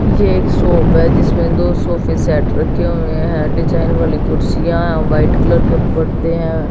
ये एक शॉप है जिसमें दो सोफे सेट रखे हुए है डिजाइन वाली कुर्सीया हैं व्हाइट कलर के पर्दे हैं।